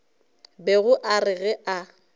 bego a re ge a